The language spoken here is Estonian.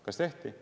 Kas tehti?